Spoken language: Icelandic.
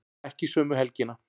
Ekki sömu helgina.